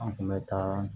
An kun bɛ taa